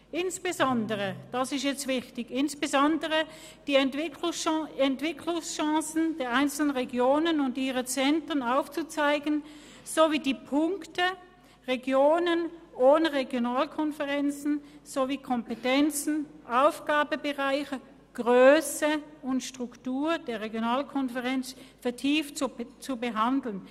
Dabei sind insbesondere die Entwicklungschancen der einzelnen Regionen und ihrer Zentren aufzuzeigen sowie die Punkte Regionen ohne Regionalkonferenz sowie Kompetenzen, Aufgabenbereiche, Grösse und Struktur der Regionalkonferenzen vertieft zu behandeln;